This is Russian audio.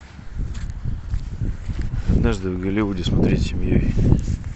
однажды в голливуде смотреть семьей